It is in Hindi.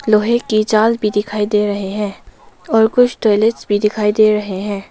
लोहे की जाल भी दिखाई दे रहे है और कुछ टॉयलेट्स भी दिखाई दे रहे हैं।